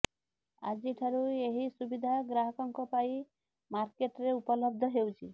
ଆଜିଠାରୁ ଏହି ସୁବିଧା ଗ୍ରାହକଙ୍କ ପାଇଁ ମାର୍କେଟ୍ରେ ଉପଲବ୍ଧ ହେଉଛି